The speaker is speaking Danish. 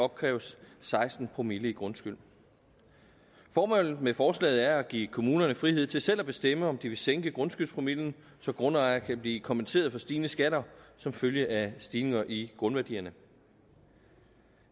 opkræves seksten promille i grundskyld formålet med forslaget er at give kommunerne frihed til selv at bestemme om de vil sænke grundskyldspromillen så grundejere kan blive kompenseret for stigende skatter som følge af stigninger i grundværdierne